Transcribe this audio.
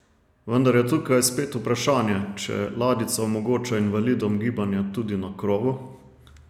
Vendar je tukaj spet vprašanje, če ladjica omogoča invalidom gibanje tudi na krovu?